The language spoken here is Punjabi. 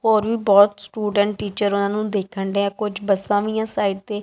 ਹੋਰ ਵੀ ਬਹੁਤ ਸਟੂਡੈਂਟ ਟੀਚਰ ਉਹਨਾਂ ਨੂੰ ਦੇਖਣ ਡਏ ਆ ਕੁਝ ਬੱਸਾਂ ਵੀ ਆ ਸਾਈਡ ਤੇ।